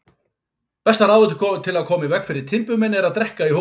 Besta ráðið til að koma í veg fyrir timburmenn er að drekka í hófi.